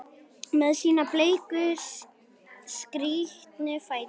Með sína bleiku, skrítnu fætur?